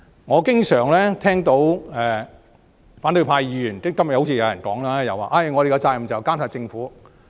我經常聽到反對派議員說——今天也有議員這樣說——我們的責任是監察政府。